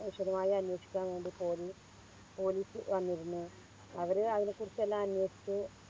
വിശദമായി അന്വേഷിക്കാൻ വേണ്ടി Police police വന്നിരുന്നു അവര് അതിനെക്കുറിച്ചെല്ലാം അന്വേഷിച്ച്